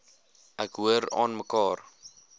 ek hoor aanmekaar